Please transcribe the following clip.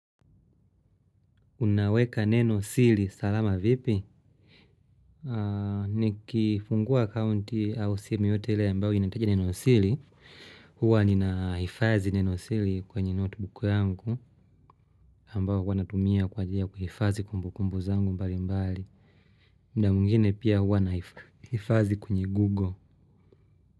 Unaweka neno siri salama vipi? Nikifungua akaunti au simu yeyote ile ambayo inahitaji niwasili. Huwa ninahifadhi neno siri kwenye notebook yangu. Ambayo wanatumia kwa njia kuhifadhi kumbukumbu zangu mbalimbali. Muda mwingine pia huwa nahifadhi kwenye Google.